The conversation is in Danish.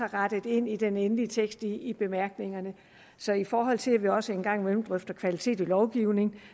rettet ind i den endelige tekst i bemærkningerne så i forhold til at vi også en gang imellem drøfter kvaliteten i lovgivningen